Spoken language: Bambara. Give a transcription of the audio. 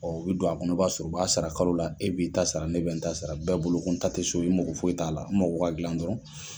u bɛ don a kɔnɔ i b'a sɔrɔ u b'a sara kalo la, e b'i ta sara, ne bɛ n ta sara ,bɛɛ bolo ko n ta tɛ so ye, n mako foyi t'a la, n mako ka dilan dɔrɔn.